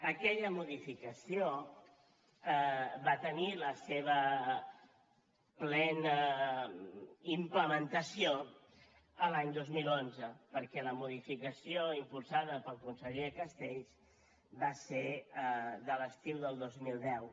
aquella modificació va tenir la seva plena implementació l’any dos mil onze perquè la modificació impulsada pel conseller castells va ser de l’estiu del dos mil deu